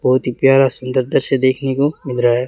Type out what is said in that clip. बहुत ही प्यारा सुंदर दृश्य देखने को मिल रहा है।